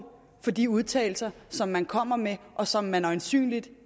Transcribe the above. for de udtalelser som man kommer med og som man øjensynligt